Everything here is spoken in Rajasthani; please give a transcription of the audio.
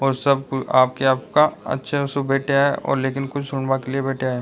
और सब आपके आपका अच्छा सा बेठ्या है और कुछ बैठा है।